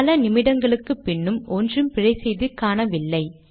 பல நிமிடங்களுக்குப்பின்னும் ஒன்றும் பிழை செய்தி காணவில்லை